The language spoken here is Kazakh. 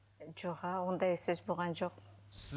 жоға ондай сөз болған жоқ